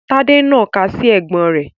Tade n na ika si ẹgbon re